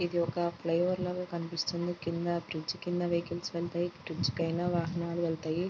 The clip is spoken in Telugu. ఇది ఒక ఫ్లై ఓవర్ లాగా కనిపిస్తుంది. కింద బ్రిడ్జి కింద వెహికల్స్ వెళ్తాయి. బ్రిడ్జి పైన వాహనాలు వెళ్తాయి.